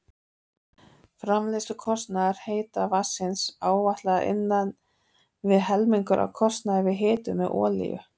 Framleiðslukostnaður heita vatnsins áætlaður innan við helmingur af kostnaði við hitun með olíu.